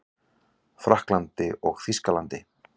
Frakklandi og Þýskalandi.